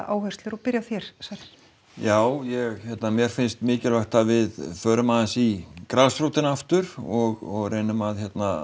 áherslur og byrja á þér Sverrir já ég hérna mér finnst mikilvægt að við förum aðeins í grasrótina aftur og reynum að